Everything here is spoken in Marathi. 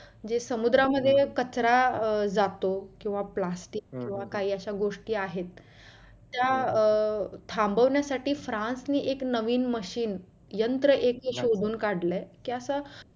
जे समुद्रामध्ये कचरा अं जातो किंवा प्लास्टिक किंवा काही अश्या गोष्टी आहेत त्या अं थांबवण्यासाठी फ्रान्स ने एक नवीन machine यंत्र एक शोधून काढलाय कि अशा